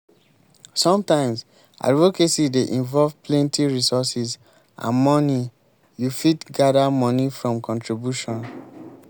sometimes advocacy dey involve plenty resources and money you fit gather money from contribution